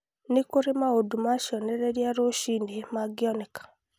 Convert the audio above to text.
nĩ kũrĩ maũndũ ma cionereria rũcinĩ mangĩoneka